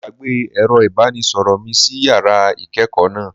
Mo gbàgbé ẹ̀rọ ìbánisọ̀rọ̀ mi sí yàrá ìkẹ́ẹ̀kọ̀ náà.